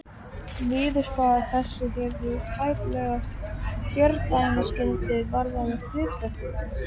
Niðurstaða þessi hefur tæplega fordæmisgildi varðandi hlutafélög.